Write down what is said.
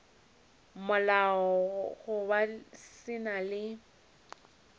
molao goba se na le